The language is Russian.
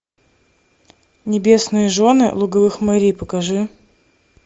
небесные жены луговых морей покажи